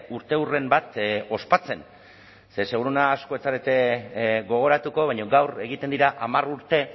urteurren bat ospatzen zeren seguruena asko ez zarete gogoratuko baina gaur egiten dira hamar urte